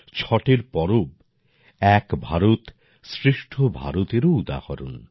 ছটের পর্ব এক ভারত শ্রেষ্ঠ ভারতএরও উদাহরণ